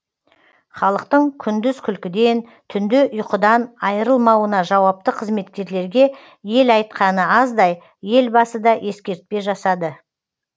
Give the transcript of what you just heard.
халықтың күндіз күлкіден түнде ұйқыдан айрылмауына жауапты қызметкерлерге ел айтқаны аздай елбасы да ескертпе жасады